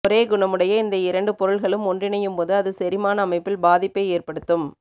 ஒரே குணமுடைய இந்த இரண்டு பொருள்களும் ஒன்றிணையும் போது அது செரிமான அமைப்பில் பாதிப்பை ஏற்படுத்தும்